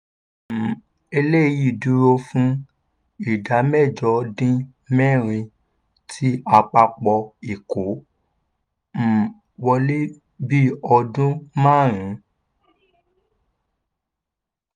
um eléyìí dúró fún ìdá mẹ́jọ dín mẹ́rin ti àpapọ̀ ìkó um wọlé bí ọdún márùn-ún.